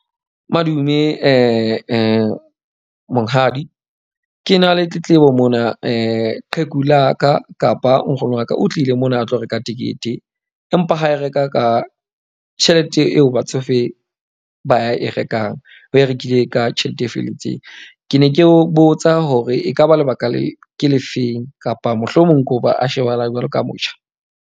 Madume monghadi. Ke na le tletlebo mona qheku la ka kapa nkgono wa ka o tlile mona a tlo reka tekete. Empa, ha e reka ka tjhelete eo batsofe ba e rekang. O e rekile ka tjhelete e felletseng. Ke ne ke o botsa hore ekaba lebaka le ke le feng kapa mohlomong ko ba a shebahalang jwalo ka motjha?